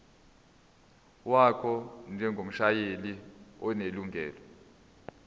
wakho njengomshayeli onelungelo